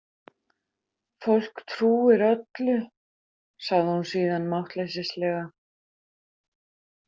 Fólk trúir öllu, sagði hún síðan máttleysislega.